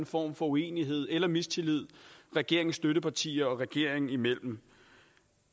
form for uenighed eller mistillid regeringens støttepartier og regeringen imellem